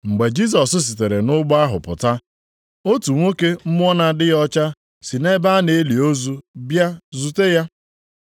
Mgbe Jisọs sitere nʼụgbọ ahụ pụta, otu nwoke mmụọ na-adịghị ọcha si nʼebe a na-eli ozu bịa zute ya.